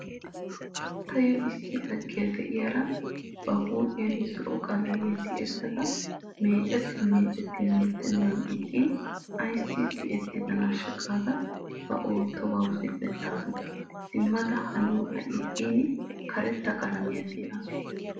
Tayyo issi laggiyaa de"iyaara ba huuphiyan zo"o qalamiya tiyettada meecettin meecettin yeddennan ixxin "ayssi tiyettidanaasha" gaada ba oottobawu zil"ettaasu. Simmada haniyobay xayin karetta qalamiya tiyettaasu.